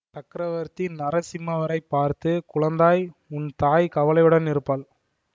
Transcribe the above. சக்கரவர்த்தி நரசிம்மவர்மரைப் பார்த்து குழந்தாய் உன் தாய் கவலையுடன் இருப்பாள்